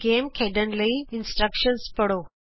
ਖੇਡ ਖੇਡਣ ਲਈ ਹਿਦਾਇਤਾਂ ਪੜ੍ਹੋ